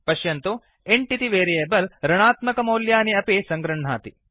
पश्यन्तु इन्ट् इति वेरियेबल् ऋणात्मकमौल्यानि अपि सङ्गृह्णाति